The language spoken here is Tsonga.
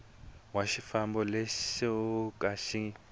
wa xifambo lexo ka xi